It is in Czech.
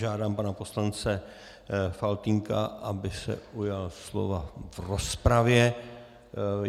Žádám pana poslance Faltýnka, aby se ujal slova v rozpravě.